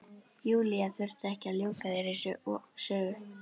Júlía þurfti ekki að ljúka þeirri sögu.